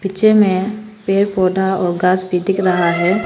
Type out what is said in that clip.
निचे में पेड़ पौधा और घास भी दिख रहा है।